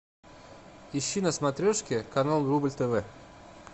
ищи на смотрешке канал рубль тв